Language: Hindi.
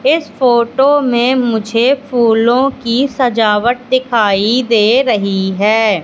इस फोटो में मुझे फूलों की सजावट दिखाई दे रही है।